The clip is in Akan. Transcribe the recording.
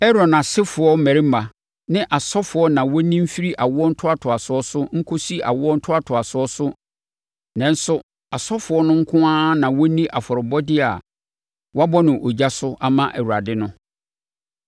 Aaron asefoɔ mmarima ne asɔfoɔ na wɔnni mfiri awoɔ ntoatoasoɔ so nkɔsi awoɔ ntoatoasoɔ so. Nanso asɔfoɔ no nko ara na wɔnni afɔrebɔdeɛ a wɔabɔ no ogya so ama Awurade no.’ ”